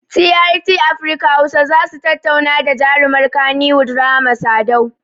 TRT afirka hausa zasu tattauna da jarumar kaniwud rahama sadau